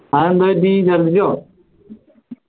അതെന്തു പറ്റി ചർദ്ദിച്ചോ